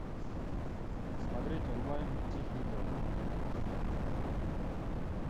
смотреть онлайн тихий дон